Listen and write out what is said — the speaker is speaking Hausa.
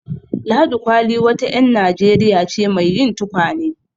Ladi Kwalli wa ta ƴar Najeriya ce mai yin tukwane.